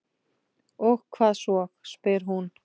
Og hvað svo, spyr hún.